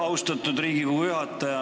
Austatud Riigikogu juhataja!